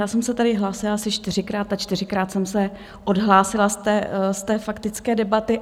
Já jsem se tady hlásila asi čtyřikrát a čtyřikrát jsem se odhlásila z té faktické debaty.